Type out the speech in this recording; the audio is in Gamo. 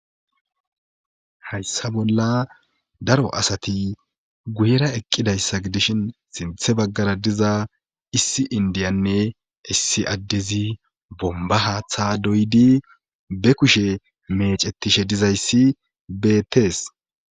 Hayssa bolla daro asati guyera eqqidayssa gi dishin sinthe baggara diza issi indiyanne issi addezi bomba haaththa doyidi be kushe mecettishe dizayssi beettees.